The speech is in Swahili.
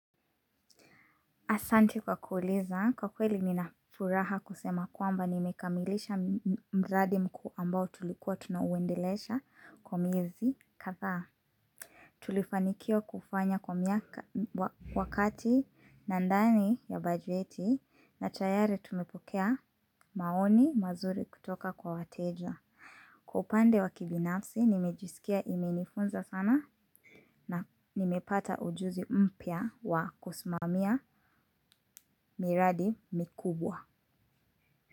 Asanti kwa kuuliza, kwa kweli mi nafuraha kusema kwamba nimekamilisha mradi mkuu ambao tulikuwa tunauendelesha kwa miezi kadhaa. Tulifanikiwa kufanya kwa miaka--, wakati na ndani ya bajeti na tayari tumepokea maoni mazuri kutoka kwa wateja. Kwa upande wa kibinafsi nimejisikia imenifunza sana, na nimepata ujuzi mpya wa kusimamia miradi mikubwa.